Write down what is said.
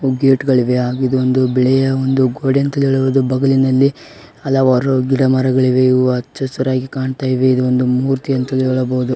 ಗೇಟ್ಗಳಿವೆ ಇದು ಬಿಳಿಯ ಒಂದು ಗೋಡೆ ಅಂತಾನೂ ಹೇಳಬಹುದು ಬಗುಳಿನಲ್ಲಿ ಹಲವಾರು ಗಿಡ ಮರಗಳಿವೆ ಹಚ್ಚ ಹಸುರಿನಿಂದ ಕಾಣಿಸ್ತಾ ಇದೆ ಇದು ಒಂದು ಮೂರ್ತಿ ಅಂತಾನೂ ಹೇಳಬಹುದು.